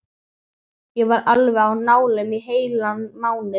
Ég var alveg á nálum í heilan mánuð.